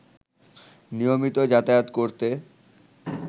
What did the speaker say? নিয়মিত যাতায়াত করতে